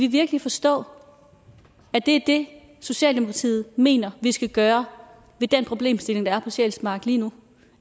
virkelig forstå at det er det socialdemokratiet mener vi skal gøre ved den problemstilling der er på sjælsmark lige nu